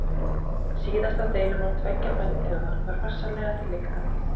Síðasta deilumál tveggja frændþjóða var farsællega til lykta leitt.